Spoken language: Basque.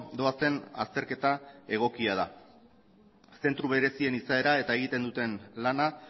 doazen azterketa egokia da zentro berezien izaera eta egiten duten lana